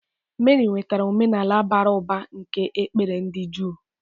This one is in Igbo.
Meri nwetara omenala bara ụba nke ekpere ndị Juu.